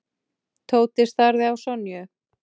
Tóti starði á Sonju.